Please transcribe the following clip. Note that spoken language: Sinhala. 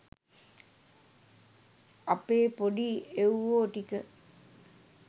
අපේ පොඩි එව්වෝ ටික